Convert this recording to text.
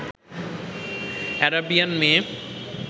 Arabian মেয়ে